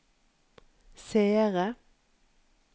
seere